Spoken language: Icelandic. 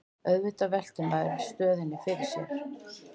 Auðvitað veltir maður stöðunni fyrir sér